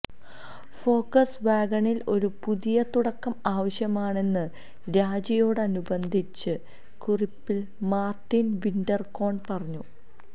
Fox വാഗണിന് ഒരു പുതിയ തുടക്കം ആവശ്യമാണെന്ന് രാജിയോടനുബന്ധിച്ച കുറിപ്പിൽ മാർട്ടിൻ വിന്റർകോൺ പറഞ്ഞു